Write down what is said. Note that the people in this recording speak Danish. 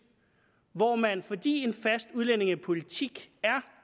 hvor man fordi en fast udlændingepolitik er